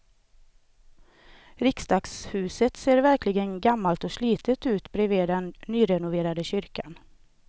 Riksdagshuset ser verkligen gammalt och slitet ut bredvid den nyrenoverade kyrkan.